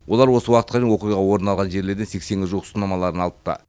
олар осы уақытқа дейін оқиға орын алған жерлердің сексенге жуық сынамаларын алыпты